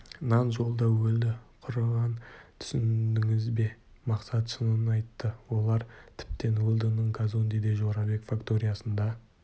нан жолда өлді құрыған түсіндіңіз бе мақсат шынын айтты олар тіптен уэлдонның казондеде жорабек факториясында